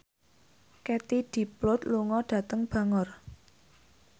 Katie Dippold lunga dhateng Bangor